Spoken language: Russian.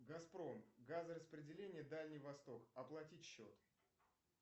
газпром газораспределение дальний восток оплатить счет